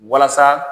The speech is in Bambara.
Walasa